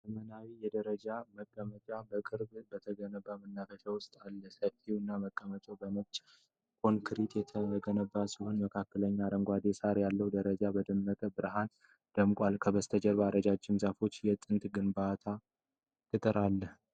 ዘመናዊ የደረጃ መቀመጫዎች በቅርቡ በተገነባ መናፈሻ ውስጥ አሉ። ሰፋፊዎቹ መቀመጫዎች በነጭ ኮንክሪት የተገነቡ ሲሆኑ በመካከላቸው አረንጓዴ ሣር አለ። ደረጃዎቹ በደመቀ መብራት ደምቀዋል፤ ከበስተጀርባ ረጃጅም ዛፎችና የጥንት ግንብ ቅጥር አለ።